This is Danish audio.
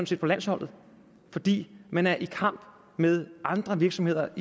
set på landsholdet fordi man er i kamp med andre virksomheder